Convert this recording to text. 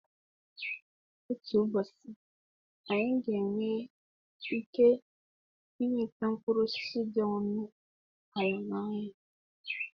Otu ụbọchị, anyị ga-enwe ike nweta mkpụrụ osisi dị ọnụ ala n'ahịa.